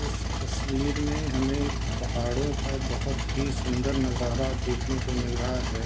इस तस्वीर में हमें पहाड़ो का बहोत ही सुन्दर नजारा देखने को मिल रहा है।